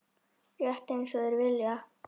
Rétt einsog þeir vilja.